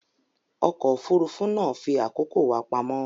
Ọkọ̀ òfurufú náà fi àkókò wa pamọ́